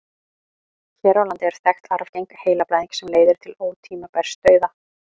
hér á landi er þekkt arfgeng heilablæðing sem leiðir til ótímabærs dauða